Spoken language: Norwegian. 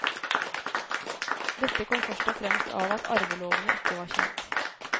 Dette kom først og fremst av at arvelovene ikke var kjent.